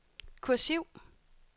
kursiv